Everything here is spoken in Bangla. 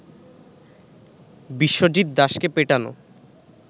বিশ্বজিৎ দাসকে পেটানো